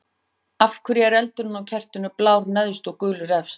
Af hverju er eldurinn á kertinu blár neðst og gulur efst?